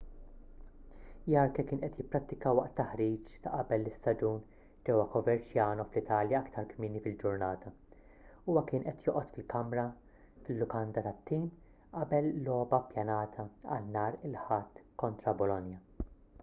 jarque kien qed jipprattika waqt taħriġ ta' qabel l-istaġun ġewwa coverciano fl-italja aktar kmieni fil-ġurnata huwa kien qed joqgħod fil-lukanda tat-tim qabel logħba ppjanata għal nhar il-ħadd kontra bolonia